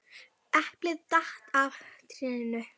Þó ég væri skelfingu lostinn rauk ég til og gargaði